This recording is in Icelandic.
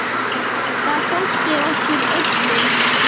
Það þótti okkur öllum.